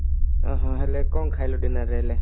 ଓ ହାଁ ହେଲେ କଣ ଖାଇଲୁ dinner ରେ ହେଲେ